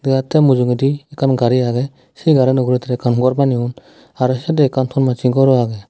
yot te mujungedi ekkan gari agey se gariano ugurey ekkan gor baneyon aro siyot ekkan ton massey gor o agey.